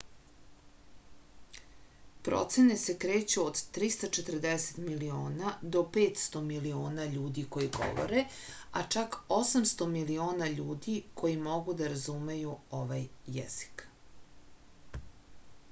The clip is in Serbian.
procene se kreću od 340 miliona do 500 miliona ljudi koji govore a čak 800 miliona ljudi koji mogu da razumeju ovaj jezik